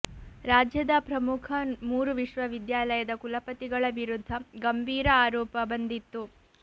ರಾಜ್ಯದ ಪ್ರಮುಖ ಮೂರು ವಿಶ್ವವಿದ್ಯಾಲಯದ ಕುಲಪತಿಗಳ ವಿರುದ್ಧ ಗಂಭೀರ ಆರೋಪ ಬಂದಿತ್ತು